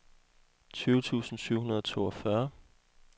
tyve tusind syv hundrede og toogfyrre